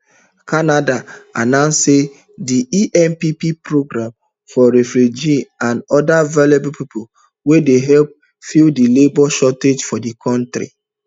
canada announce say di empp program for refugees and oda vulnerable pipo dey help fill di labour shortage for di kontri